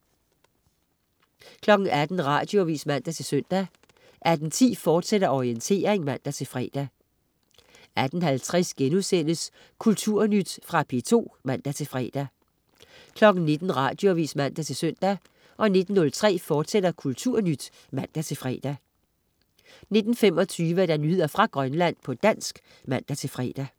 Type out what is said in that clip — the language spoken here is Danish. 18.00 Radioavis (man-søn) 18.10 Orientering, fortsat (man-fre) 18.50 Kulturnyt.* Fra P2 (man-fre) 19.00 Radioavis (man-søn) 19.03 Kulturnyt, fortsat (man-fre) 19.25 Nyheder fra Grønland, på dansk (man-fre)